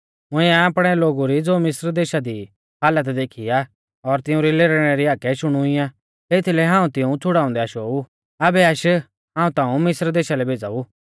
मुंइऐ आपणै लोगु री ज़ो मिस्र देशा दी ई हालत देखी आ और तिउंरी लेरने री हाकै शुणी आ एथीलै हाऊं तिऊं छ़ुड़ाउंदै आशो ऊ आबै आश्श हाऊं ताऊं मिस्रा देशा लै भेज़ाऊ